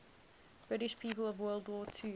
british people of world war ii